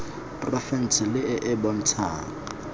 porofense le e e bontshang